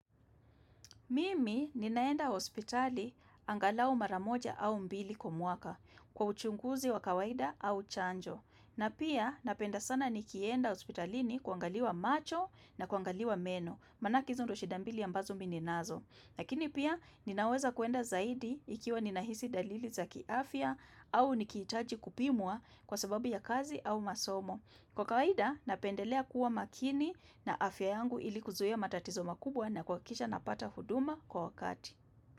Mimi ninaenda hospitali angalao mara moja au mbili kwa mwaka kwa uchunguzi wa kawaida au chanjo. Na pia napenda sana nikienda hospitalini kuangaliwa macho na kuangaliwa meno, manake hizo ndio shida mbili ambazo mimi ninazo. Lakini pia ninaweza kuenda zaidi ikiwa ninahisi dalili za kiafya au nikihitaji kupimwa kwa sababu ya kazi au masomo. Kwa kawaida, napendelea kuwa makini na afya yangu ili kuzuea matatizo makubwa na kuhakikisha napata huduma kwa wakati.